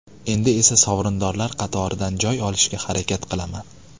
Endi esa sovrindorlar qatoridan joy olishga harakat qilaman.